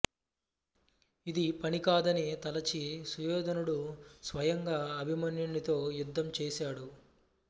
ఇది పనికాదని తలచి సుయోధనుడు స్వయంగా అభిమన్యునితో యుద్ధం చేసాడు